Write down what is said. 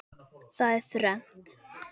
Það er þrennt.